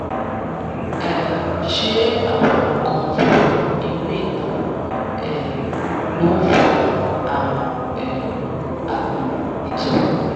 um ṣé àwọn nǹkan funfun inú ìtọ̀ um ló ń fa àrùn um àpò ìtọ̀?